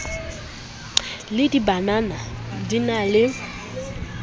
le dibanana di na le